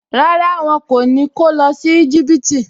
Rárá, wọn kò ní kó lọ sí Íjíbítì